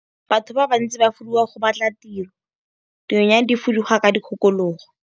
Batho ba bantsi ba fuduga go batla tiro, dinonyane di fuduga ka dikgakologo.